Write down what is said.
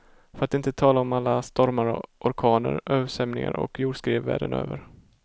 För att inte tala om alla stormar och orkaner, översvämningar och jordskred världen över.